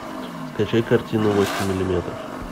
скачай картину восемь миллиметров